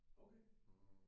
Okay